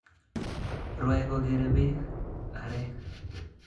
Rwae kokere bee a'rek